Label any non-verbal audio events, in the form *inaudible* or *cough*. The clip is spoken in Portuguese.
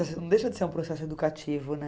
*unintelligible* Não deixa de ser um processo educativo, né?